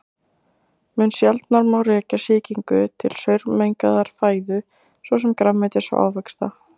Mun sjaldnar má rekja sýkingu til saurmengaðrar fæðu svo sem grænmetis og ávaxta.